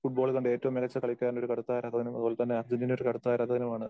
ലോക ഫുട്ബാൾ കണ്ട ഏറ്റവും മികച്ച കളിക്കാരന്റെ ഒരു കടുത്ത ആരാധകനും അതുപോലെതന്നെ അർജന്റീന ഒരു കടുത്ത ആരാധകനും ആണ്‌.